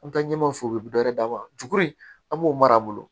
An bɛ taa ɲɛmaw fɛ u bɛ dɔ wɛrɛ d'a ma juru in an b'o mara bolo